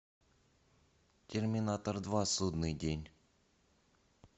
терминатор два судный день